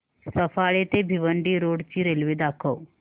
सफाळे ते भिवंडी रोड ची रेल्वे दाखव